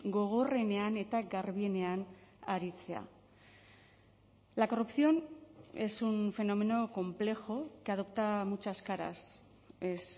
gogorrenean eta garbienean aritzea la corrupción es un fenómeno complejo que adopta muchas caras es